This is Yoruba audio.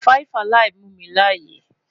5 alive mu mi laaye